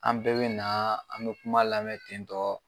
An bɛɛ be naa an bɛ kuma lamɛ ten tɔɔ